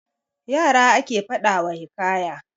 Yara ake faɗa wa hikaya.